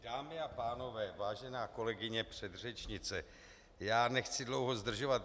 Dámy a pánové, vážená kolegyně předřečnice, já nechci dlouho zdržovat.